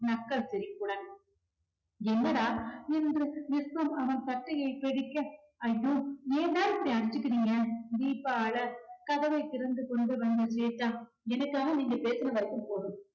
நக்கல் சிரிப்புடன் என்னடா என்று விஸ்வம் அவன் சட்டையை பிடிக்க, ஐயோ! ஏன்டா இப்படி அடிச்சுக்கிறீங்க தீபா அழ கதவை திறந்து கொண்டு வந்து கேட்டாள் எனக்காக நீங்க பேசுன வரைக்கும் போதும்